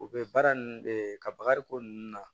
U bɛ baara ninnu de ka bagariko ninnu na